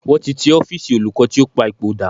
Wọ́n ti ti ọ́fíísì olùkọ́ tí ó pa ipò dà.